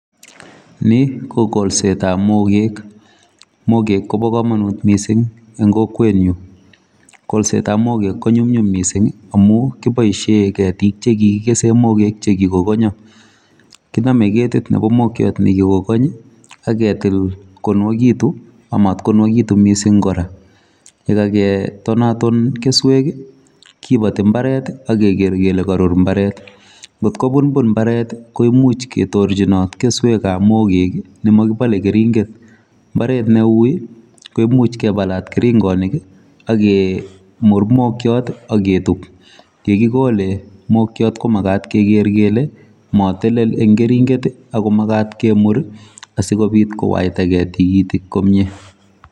Ni ko kolset ab mokeek mokeek koba kamanut missing en kokwet nyuun, kolset ab mokeek ko nyumnyum missing amuun kiboisien ketiik chekikesen mokeek che Kiko kongyaa , kiname ketiik nebo mokiat nekiko Kong amat ko nywagekituun missing kora ye kagetonatin kesuek ii kobatii mbaret ii ak keger kole koruut mbaret koot ko bunbun mbaret koimuuch ketorjinaat kesuek ab mokeek ne makibale keringeet mbaret ne wui ii koimuuch kebalaat keringanik akomuuch kinde mokiat ii aketuub ye kigole mokiat ko makaat kele matelel eng keringeet ako makaat ketiik sikobiit kowaitagei tikitiik komyei.